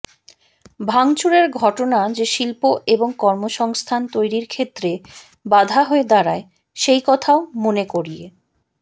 ভাঙচুরের ঘটনা যে শিল্প এবং কর্মসংস্থান তৈরির ক্ষেত্রে বাধা হয়ে দাঁড়ায় সেই কথাও মনে করিয়ে